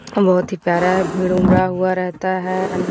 बहुत ही प्यारा है भीड़ उमड़ा हुआ रहता है।